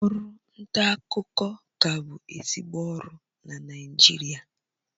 Ọrụ nta akụkọ ka bụ ezigbo ọrụ na Naịjirịa